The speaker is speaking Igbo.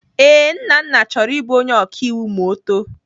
Ee, Nnanna chọrọ ịbụ onye ọkaiwu ma ọ too.